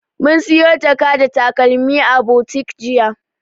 Mun siyo jaka da takalmi a butik jiya.